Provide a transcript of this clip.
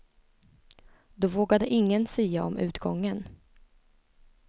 Då vågade ingen sia om utgången.